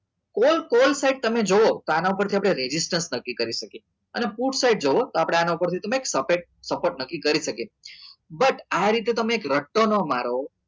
call call side તમે જોવો તો આના પર થી આપડે નક્કી કરી શકીએ અને put side તમે જોવો તો આપડે એના પર થી તમે એક સફેત સફ્ફ્ત નક્કી કરી શકીએ but આ રીતે તમે એક રટતો નાં મારો